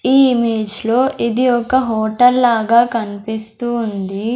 ఈ ఇమేజ్ లో ఇది ఒక హోటల్ లాగా కనిపిస్తూ ఉంది.